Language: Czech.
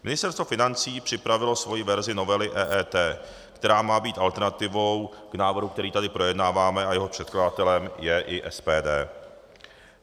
Ministerstvo financí připravilo svoji verzi novely EET, která má být alternativou k návrhu, který tady projednáváme a jehož předkladatelem je i SPD.